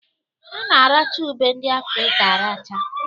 A na-aracha ube ndị Afrịka aracha